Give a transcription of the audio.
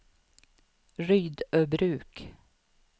Rydöbruk